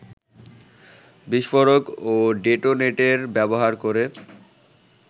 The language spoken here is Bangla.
বিস্ফোরক ও ডেটোনেটর ব্যবহার করে